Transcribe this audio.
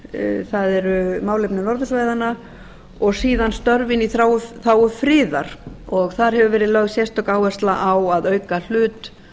þróunarsamvinnumálin það eru málefni norðursvæðanna og síðan störfin í þágu friðar og þar hefur verið lögð sérstök áhersla á að auka hlut